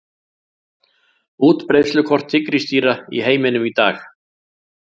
Útbreiðslukort tígrisdýra í heiminum í dag.